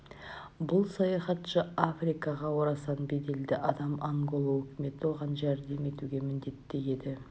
бұл саяхатшы африкаға орасан беделді адам ангола өкіметі оған жәрдем етуге міндетті еді